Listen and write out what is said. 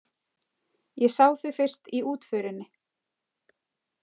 Ég sá þau fyrst í útförinni.